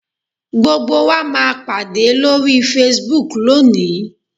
Gbogbo wa máa pàdé lórí Facebook lónìí